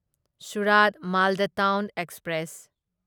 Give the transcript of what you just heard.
ꯁꯨꯔꯥꯠ ꯃꯥꯜꯗ town express